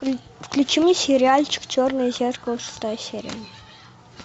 включи мне сериальчик черное зеркало шестая серия